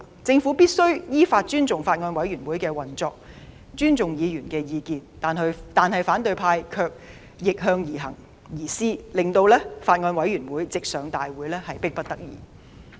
政府必須亦依法尊重法案委員會的運作，亦尊重議員的意見，但反對派卻逆向而施，故將法案直接提交立法會會議審議乃迫不得已。